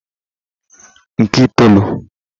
nke itoolu